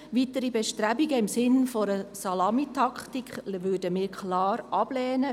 Weitere Bestrebungen im Sinne einer Salamitaktik würden wir klar ablehnen.